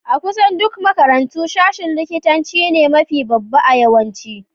A'kusan duk makarantu, sashen likitta ne mafi babba a yawanci.